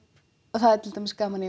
það er til dæmis gaman